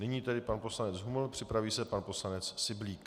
Nyní tedy pan poslanec Huml, připraví se pan poslanec Syblík.